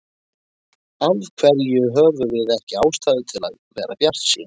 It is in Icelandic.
Af hverju höfum við ekki ástæðu til að vera bjartsýn?